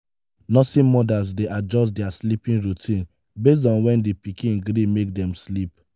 nursing mothers de adjust their sleeping routine based on when di pikin gree make dem sleep